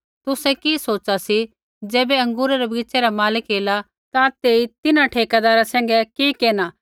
तुसै कि सोच़ा सी ज़ैबै अँगूरै रै बगीच़ै रा मालक एला ता तेई तिन्हां ठेकैदारा सैंघै कि केरना